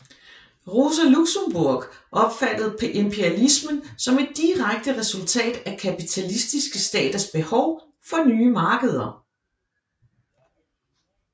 Rosa Luxemburg opfattede imperialismen som et direkte resultat af kapitalistiske staters behov for nye markeder